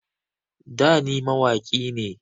Da ni mawaƙi ne